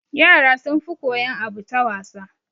Yara sun fi koyan abu ta wasa